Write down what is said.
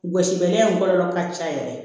Gosibaga in kɔlɔlɔ ka ca yɛrɛ